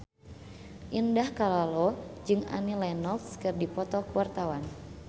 Indah Kalalo jeung Annie Lenox keur dipoto ku wartawan